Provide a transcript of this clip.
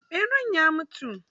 Ɓeran ya mutu?